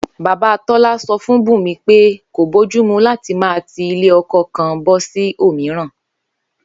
Bàbá Tó̩lá so̩ fún Bùnmi pé kò bójúmu láti máa ti ilé o̩ko̩ kan bó̩ sí òmíràn